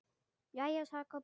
Jæja, sagði Kobbi.